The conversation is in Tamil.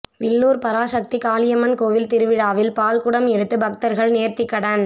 வில்லூர் பராசக்தி காளியம்மன் கோயில் திருவிழாவில் பால்க்குடம் எடுத்து பக்தர்கள் நேர்த்திக்கடன்